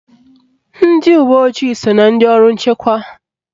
Ndị uwe ojii so na ndị ọrụ nchekwa